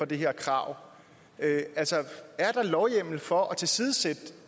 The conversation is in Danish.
det her krav altså er der lovhjemmel for at tilsidesætte